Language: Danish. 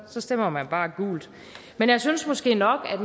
så stemmer man bare gult men jeg synes måske nok at